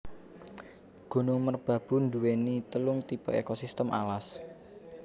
Gunung Merbabu nduwéni telung tipe ekosistem alas